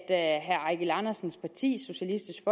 at herre eigil andersens parti socialistisk